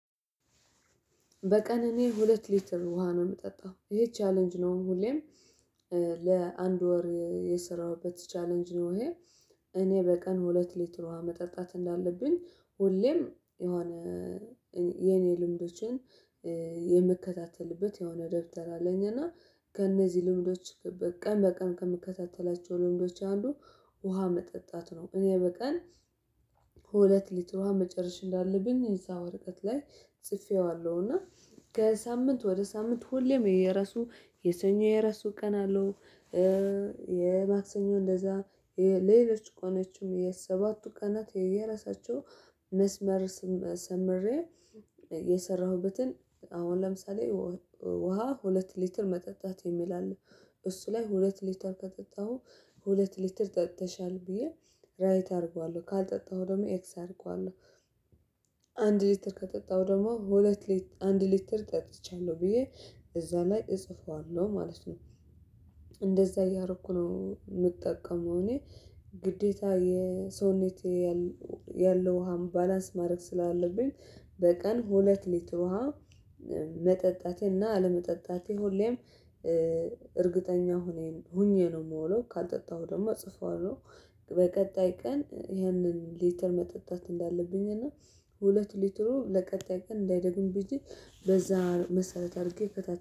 በቀን እኔ ሁለት ሊትር ውሃ ነው የምጠጣው ይሄ ቻሌንጅ ነው ሁሌም ለአንድ ወር የሠራሁበት ቻሌንጅ ነው። ይሄ እኔ በቀን ሁለት ሊትር ውሃ መጠጣት እንዳለብኝ ሁሌም የሆነ የኔ ልምዶችን የምከታተልበት የሆነ ደብተር አለኝ እና ከእነዚህ ልምዶች በቀን በቀን ከምከታተላቸው ልምዶች አንዱ ውሃ መጠጣት ነው። እኔ በቀን ሁለት ሊትር ውሃ መጨረሽ እንዳለብን እዛ ወረቀት ላይ ጽፌዋለሁ እና ከሳምንት ወደ ሳምንት ሁሌም የየራሱ የሰኞ የራሱ ቀን አለው። የማክሰኞ እንደዛ ሌሎች ቀኖችም የሰባቱ ቀናት የየራሳቸው መስመር ሰምሬ የሠራሁበትን አሁን ለምሳሌ ውሃ ሁለት ሊትር መጠጣት የሚል አለ እሱ ላይ ሁለት ሊትር ከጠጣሁ ሁለት ሊትር ጠጥተሻል ብዬ ራይት አደርገዋለሁ ካልጠጣሁ ደግሞ ኤክስ አደርገዋለሁ። አንድ ሊትር ከጠጣሁ ደግሞ ሁለት ሊትር አንድ ሊትር ጠጥቻለሁ ብዬ እዛ ላይ እጽፈዋለሁ ማለት ነው። እንደዛ እያረኩ ነው የምጠቀመው እኔ ግዴታ የሰውነት ያለው ውሃም ባላንስ ማድረግ ስላለብኝ በቀን ሁለት ሊትር ውሃ መጠጣቴና አለመጠጣቴ ሁሌም እርግጠኛ ሁኔን ሆኜ ነው የምውለው ካልጠጣሁ ደግሞ እጽፈዋለሁ። በቀጣይ ቀን ይሄንን ሊትር መጠጣት እንዳለብኝ እና ሁለት ሊትሩ ለቀጣይ ቀን እንዳይደግም ብዬ በዛ መሰረት አድርጌ ከታች